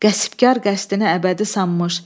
Qəsbkar qəsdini əbədi sanmış.